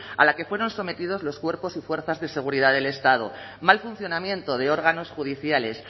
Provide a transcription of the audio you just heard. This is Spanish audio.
a la que fueron sometidos los cuerpos y fuerzas de seguridad del estado mal funcionamiento de órganos judiciales